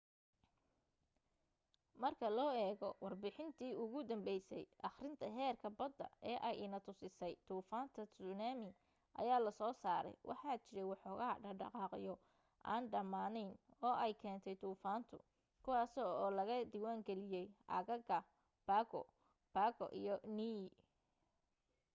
marka loo eego warbixintii ugu danbaysay akhrinta heerka badda ee ay inna tusisay duufaanta tsunami ayaa lasoo saaray waxaa jiray woxoogaa dhaqdhaqaaqyo aan dhamaanayn oo ay keentay duufaantu kuwaasi oo laga diwaangaliyay aagaga pago pago iyo niue